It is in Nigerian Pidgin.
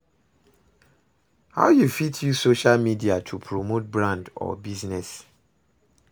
how you fit use social media to promote brand or business?